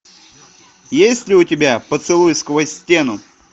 есть ли у тебя поцелуй сквозь стену